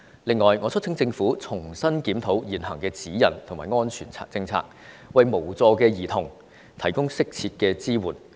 此外，我促請政府重新檢討現行的指引和安全網政策，為無助的兒童提供適切的支援。